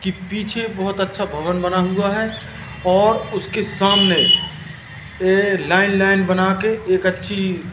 की पीछे बहुत अच्छा भवन बना हुआ है और उसके सामने ये लाइन लाइन बना के एक अच्छी--